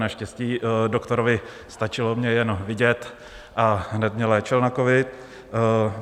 Naštěstí doktorovi stačilo jen mě vidět a hned mě léčil na covid.